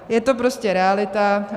Je to prostě realita.